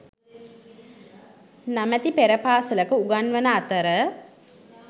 නමැති පෙර පාසලක උගන්වන අතර